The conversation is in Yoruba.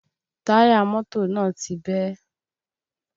Táyà mọ́tò náà ti bẹ́